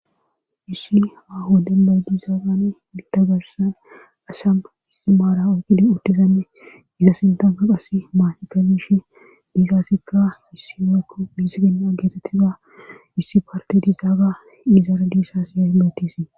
issi aho denbay diizaagan idagahssan asham istimaara oqide uttizamme isa sintana qasi maanika bishe diisaassikka issi meekko miisigenna geetettizaa issi parte dizaaga izare diisasiya metisii